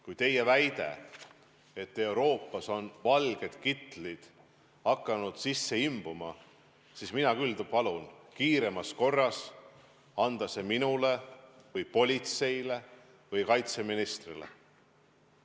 Kui teie väide on, et Euroopasse on valged kitlid hakanud sisse imbuma, siis mina küll palun kiiremas korras anda see minule või politseile või kaitseministrile.